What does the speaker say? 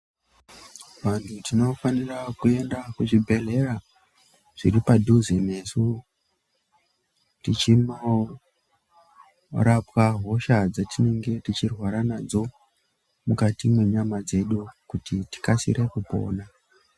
Vanthu tinofanira kuenda kuzvibhedhlera zviri padhuze nesu tichinorapwa hosha dzatinenge tichirwara nadzo mukati mwenyama dzedu kuti tikasire kupona.